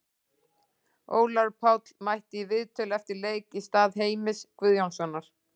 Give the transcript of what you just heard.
Ólafur Páll mætti í viðtöl eftir leik í stað Heimis Guðjónssonar.